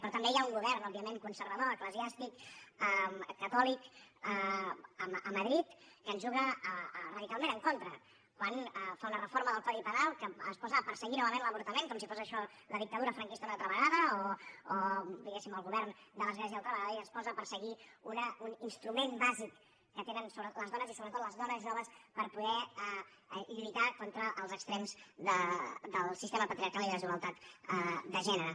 però també hi ha un govern òbviament conservador eclesiàstic catòlic a madrid que ens juga radicalment en contra quan fa una reforma del codi penal que es posa a perseguir novament l’avortament com si fos això la dictadura franquista una altra vegada o diguéssim el govern de l’església una altra vegada i es posa a perseguir un instrument bàsic que tenen les dones i sobretot les dones joves per poder lluitar contra els extrems del sistema patriarcal i de la desigualtat de gènere